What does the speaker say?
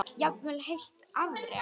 Jafnvel heilt afrek?